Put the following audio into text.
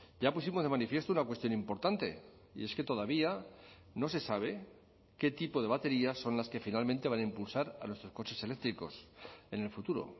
ya pusimos de manifiesto una cuestión importante y es que todavía no se sabe qué tipo de baterías son las que finalmente van a impulsar a nuestros coches eléctricos en el futuro